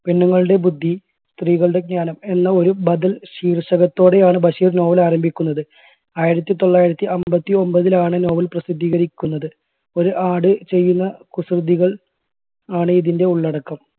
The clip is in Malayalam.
പെണ്ണുങ്ങളുടെ ബുദ്ധി സ്ത്രീകളുടെ ജ്ഞാനം എന്ന ഒരു ബദൽ ശീർഷകത്തോടെയാണ് ബഷീർ novel ആരംഭിക്കുന്നത്. ആയിരത്തി തൊള്ളായിരത്തി അൻപത്തി ഒൻപതിലാണ് novel പ്രസിദ്ധീകരിക്കുന്നത്. ഒരു ആട് ചെയ്യുന്ന കുസൃതികൾ ആണ് ഇതിൻറെ ഉള്ളടക്കം.